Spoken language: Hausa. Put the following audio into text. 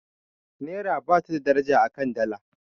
naira ba ta da daraja a kan Dala